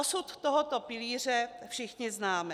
Osud tohoto pilíře všichni známe.